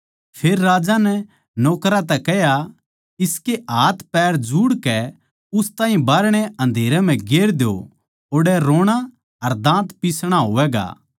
फेर राजा नै नौकरां तै कह्या इसके हाथपैर जुड़कै उस ताहीं बाहरणै अन्धेरे म्ह गेर द्यो ओड़ै रोणा अर दाँत पिसणा होवैगा